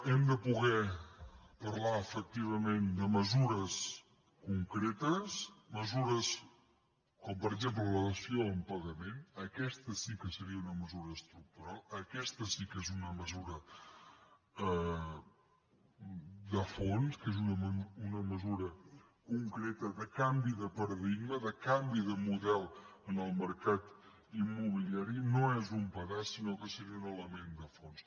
hem de poder parlar efectivament de mesures con·cretes mesures com per exemple la dació en paga·ment aquesta sí que seria una mesura estructural aquesta sí que és una mesura de fons que és una me·sura concreta de canvi de paradigma de canvi de mo·del en el mercat immobiliari no és un pedaç sinó que seria un element de fons